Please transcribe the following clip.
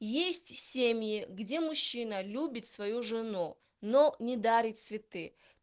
есть семьи где мужчина любит свою жену но не дарит цветы